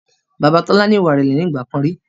Bàbá Tola ni ìwà ìrẹ̀lẹ̀ nígbàkan rí